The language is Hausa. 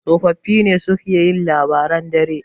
tsofaffi ne suke yin labaran dare